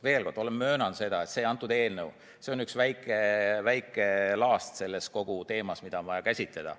Veel kord, ma möönan, et see eelnõu on üks väike laast kogu selles teemas, mida on vaja käsitleda.